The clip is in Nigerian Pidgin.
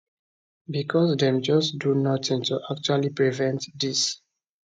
becos dem just do nothing to actually prevent dis